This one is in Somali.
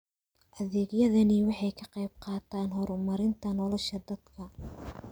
Adeegyadani waxay ka qaybqaataan horumarinta nolosha dadka.